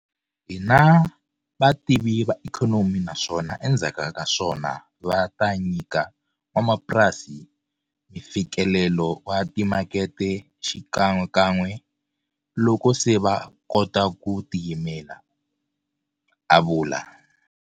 Hi na vativi va ikhonomi naswona endzhaku ka swona va ta nyika n'wamapurasi mifikelelo wa timakete xikan'wekan'we loko se va kota ku tiyimela, a vula.